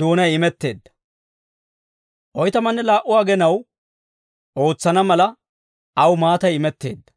doonay imetteedda. Oytamanne laa"u agenaw ootsana mala, aw maatay imetteedda.